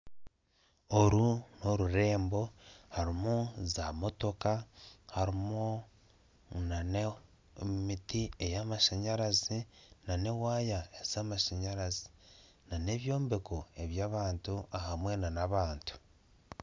Oru n'orurembo harimu zamotooka harimu na n'emiti ey'amashanyarazi na n'ewaaya ez'amashanyarazi na n'ebyombeko eby'abantu hamwe na n'abantu.